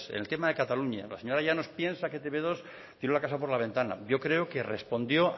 en el tema de cataluña la señora llanos piensa que e te be dos tiró la casa por la ventana yo creo que respondió